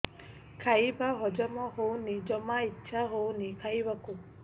ଖାଇବା ହଜମ ହଉନି ଜମା ଇଛା ହଉନି ଖାଇବାକୁ